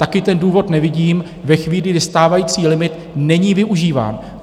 Taky ten důvod nevidím ve chvíli, kdy stávající limit není využíván.